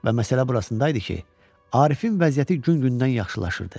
Və məsələ burasındaydı ki, Arifin vəziyyəti gün-gündən yaxşılaşırdı.